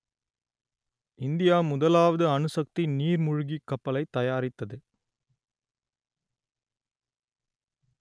India முதலாவது அணுசக்தி நீர்மூழ்கிக் கப்பலைத் தயாரித்தது